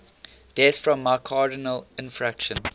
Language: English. deaths from myocardial infarction